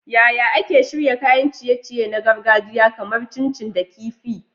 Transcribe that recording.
Yaya ake shirya kayan ciye-ciye na gargajiya kamar chin chin da kifi kifi?